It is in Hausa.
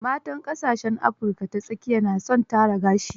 Matan ƙasashen Afrika ta tsakiya na son tara gashi.